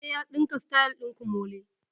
Eh, ya ɗinka sityl ɗin komole